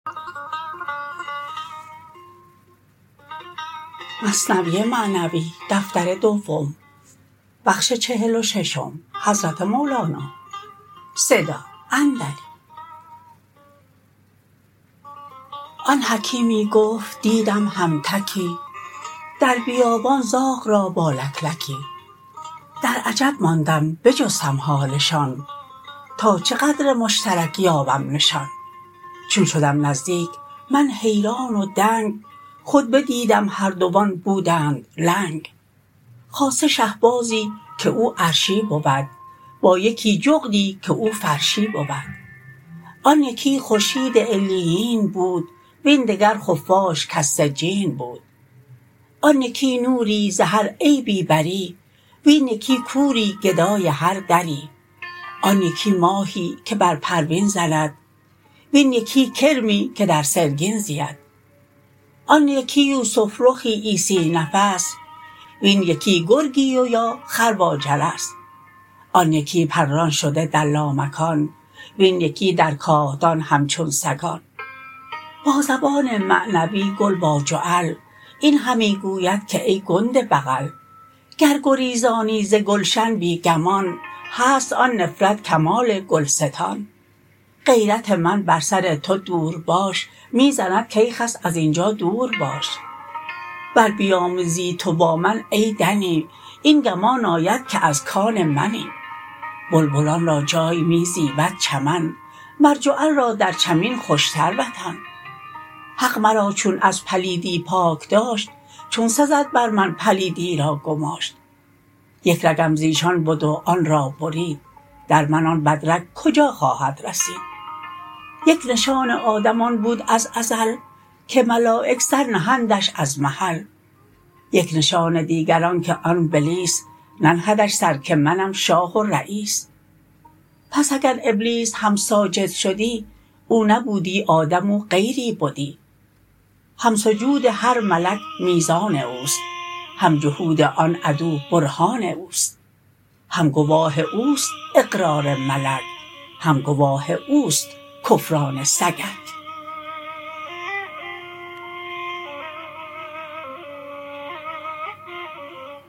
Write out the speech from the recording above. آن حکیمی گفت دیدم هم تکی در بیابان زاغ را با لکلکی در عجب ماندم بجستم حالشان تا چه قدر مشترک یابم نشان چون شدم نزدیک من حیران و دنگ خود بدیدم هر دوان بودند لنگ خاصه شه بازی که او عرشی بود با یکی جغدی که او فرشی بود آن یکی خورشید علیین بود وین دگر خفاش کز سجین بود آن یکی نوری ز هر عیبی بری وین یکی کوری گدای هر دری آن یکی ماهی که بر پروین زند وین یکی کرمی که در سرگین زید آن یکی یوسف رخی عیسی نفس وین یکی گرگی و یا خر با جرس آن یکی پران شده در لامکان وین یکی در کاهدان همچون سگان با زبان معنوی گل با جعل این همی گوید که ای گنده بغل گر گریزانی ز گلشن بی گمان هست آن نفرت کمال گلستان غیرت من بر سر تو دورباش می زند کای خس ازینجا دور باش ور بیامیزی تو با من ای دنی این گمان آید که از کان منی بلبلان را جای می زیبد چمن مر جعل را در چمین خوشتر وطن حق مرا چون از پلیدی پاک داشت چون سزد بر من پلیدی را گماشت یک رگم زیشان بد و آن را برید در من آن بدرگ کجا خواهد رسید یک نشان آدم آن بود از ازل که ملایک سر نهندش از محل یک نشان دیگر آنک آن بلیس ننهدش سر که منم شاه و رییس پس اگر ابلیس هم ساجد شدی او نبودی آدم او غیری بدی هم سجود هر ملک میزان اوست هم جحود آن عدو برهان اوست هم گواه اوست اقرار ملک هم گواه اوست کفران سگک